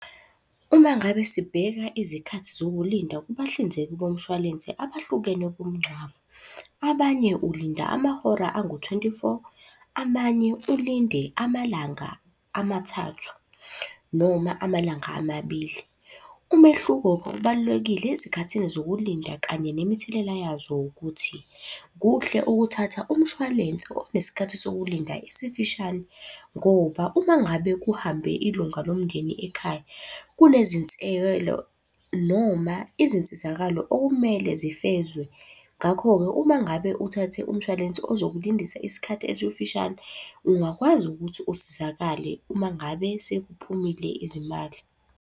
Uma ngabe sibheka izikhathi zokulinda kubahlinzeki bomshwalense abahlukene bomngcwabo. Abanye ulinda amahora angu-twenty-four. Amanye ulinde amalanga amathathu noma amalanga amabili. Umehluko kokubalulekile ezikhathini zokulinda kanye nemithelela yazo ukuthi, kuhle ukuthatha umshwalense onesikhathi sokulinda esifishane ngoba uma ngabe kuhambe ilunga lomndeni ekhaya, noma izinsizakalo okumele zifezwe. Ngakho-ke uma ngabe uthathe umshwalense ozokulindisa isikhathi esifishane, ungakwazi ukuthi usizakale uma ngabe sekuphumile izimali.